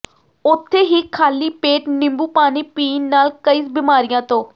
ਉੱਥੇ ਹੀ ਖਾਲੀ ਪੇਟ ਨਿੰਬੂ ਪਾਣੀ ਪੀਣ ਨਾਲ ਕਈ ਬਿਮਾਰੀਆਂ ਤੋਂ